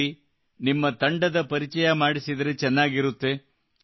ಸರಿ ನಿಮ್ಮ ತಂಡದ ಪರಿಚಯ ಮಾಡಿಸಿದರೆ ಚೆನ್ನಾಗಿರುತ್ತದೆ